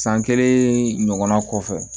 San kelen ɲɔgɔnna kɔfɛ